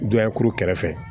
Dɔ ye kuru kɛrɛfɛ